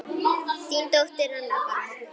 Þín dóttir, Anna Bára.